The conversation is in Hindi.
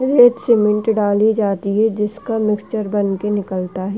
एक सीमेंट डाली जाती है जिसका मिक्सर बनकर निकलता है।